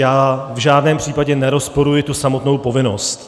Já v žádném případě nerozporuji tu samotnou povinnost.